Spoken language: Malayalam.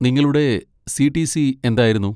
നിങ്ങളുടെ സി.ടി.സി. എന്തായിരുന്നു?